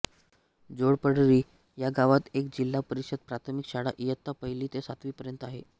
जोडपरळी या गावात एक जिल्हा परिषद प्राथमिक शाळा इयत्ता पहिली ते सातवी पर्यंत आहे